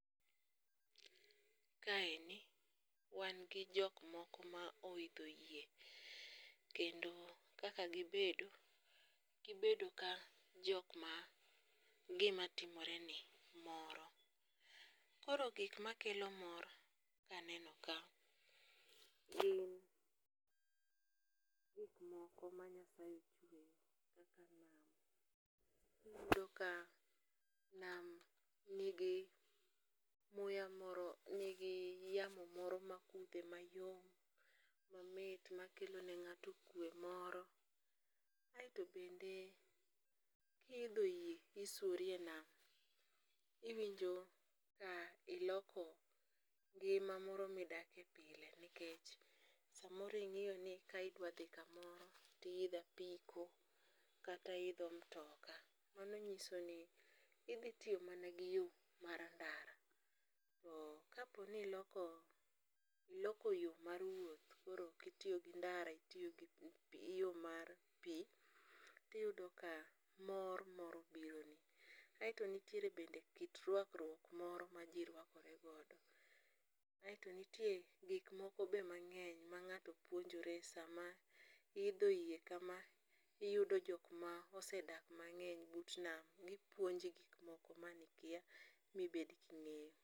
Kaendi wan gi jok moko ma oidho yie, kendo kaka gibedo, gibedo ka jok ma gimatimore ni moro, koro gik makelo mor kaneno ka iyudo ka nam nigi muya moro nigi yamo moro makudhe mayom mamit makelone ng'ato kwe moro. Kaeto bende kihitho yie isuorie nam iwinjo ka iloko ng'ima moro ma idakie pile nikech, samoro ing'iyoni kidwadhi kamoro tiyitho apiko kata iyidho mtoka, mano nyisoni idhitiyo mana gi yor mar ndara to kaponi iloko yo mar wuothi koro okitiyo gi ndara itiyo gi yo mar pi iyudo ka mor moro bironi, kaeto bende nitie kit rwakruok moro maji rwakoregodo, aeto nitie gik moko ma be mang'eny mang'ato puonjore mang'ato hidho yie kama iyudo jok ma osedak mang'eny but nam puonji gik moko manikia mibed king'eyo